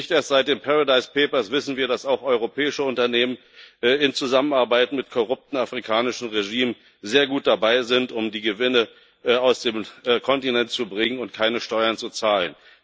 Nicht erst seit den Paradise Papers wissen wir, dass auch europäische Unternehmen in Zusammenarbeit mit korrupten afrikanischen Regimen sehr gut dabei sind, um die Gewinne aus dem Kontinent zu bringen und keine Steuern zu zahlen.